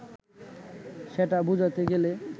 সেটা বোঝাতে গেলে